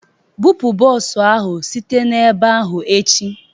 Bupụ bọs ahụ site na ebe ahụ echi!